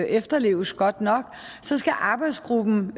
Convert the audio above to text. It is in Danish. efterleves godt nok så skal arbejdsgruppen